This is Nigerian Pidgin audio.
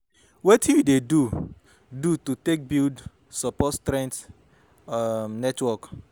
Wetin you dey do do to take build strong support um network?